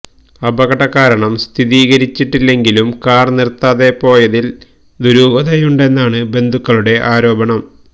അപകട കാരണം സ്ഥിരീകരിച്ചിട്ടില്ലെങ്കിലും കാർ നിർത്താതെ പോയതിൽ ദുരൂഹതയുണ്ടെന്നാണ് ബന്ധുക്കളുടെ ആരോപണം